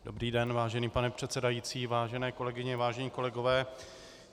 Dobrý den, vážený pane předsedající, vážené kolegyně, vážení kolegové.